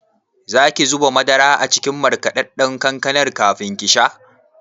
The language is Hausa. Zaki zuba madara a cikin markaɗaɗɗan kankanar kafin kisha?